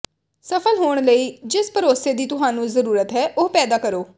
ਸਫਲ ਹੋਣ ਲਈ ਜਿਸ ਭਰੋਸੇ ਦੀ ਤੁਹਾਨੂੰ ਜ਼ਰੂਰਤ ਹੈ ਉਹ ਪੈਦਾ ਕਰੋ